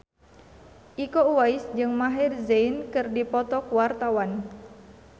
Iko Uwais jeung Maher Zein keur dipoto ku wartawan